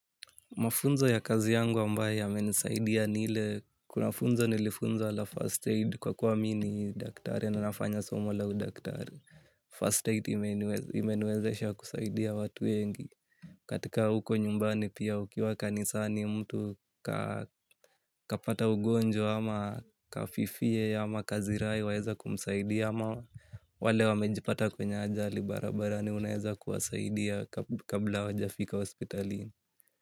Mafunzo ya kazi yangu ambayo yamenisaidia ni ile. Kuna funzo nilifunzwa la first aid kwa kuwa mimi ni daktari na nafanya somo la udaktari. First aid imeniwezesha kusaidia watu wengi. Katika huko nyumbani pia ukiwa kanisa ni mtu kapata ugonjwa ama kafifie ama kazirai waeza kumsaidia. Ama wale wamejipata kwenye ajali barabarani unaweza kuwasaidia kabla hawajafika hospitalini.